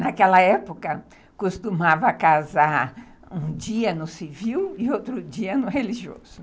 Naquela época, costumava casar um dia no civil e outro dia no religioso.